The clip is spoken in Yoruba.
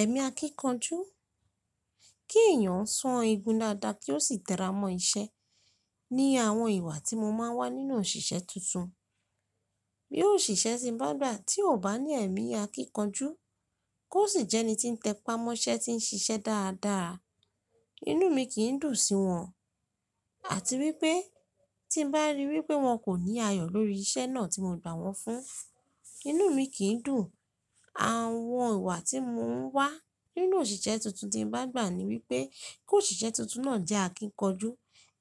Ẹ̀mi akíkanjú, kí èèyàn ó san egun dáadáa kí ó sì tera mọ iṣẹ́ ní àwọn ìwà tí mo máa ń wà nínú òṣìṣẹ́ tuntun. Bí òṣìṣẹ́ ṣe bá dà tí ó bá ní ẹ̀mí akíkanjú, kó sì jẹ́ ẹni tí ń tẹpá mọ́ṣẹ́ tí ń ṣiṣẹ́ dáadáa, inú mi kì í dùn sí wọn. Àti wípé tí ń bá rí wípé wọn kò ní ayọ̀ lórí iṣẹ́ náà tí mo gbà wọ́n fún, inú mi kì í dùn. Àwọn ìwà tí mò ń wà nínú òṣìṣẹ́ tuntun tí ń bá gbà ni wípé kó òṣìṣẹ́ tuntun náà jẹ́ akíkanjú,